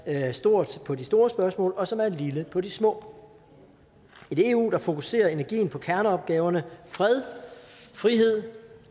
er stort på de store spørgsmål og som er lille på de små et eu der fokuserer energien på kerneopgaverne fred frihed